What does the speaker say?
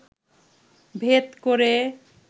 ভেদ করে